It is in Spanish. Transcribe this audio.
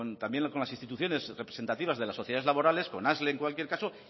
también con las instituciones representativas de la sociedades laborales con asle en cualquier caso